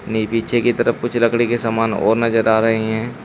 में पीछे की तरफ कुछ लकड़ी के समान और नजर आ रहे है।